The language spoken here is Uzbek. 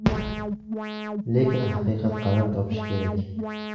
Lekin haqiqat qaror topishi kerak.